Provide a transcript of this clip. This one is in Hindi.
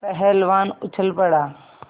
पहलवान उछल पड़ा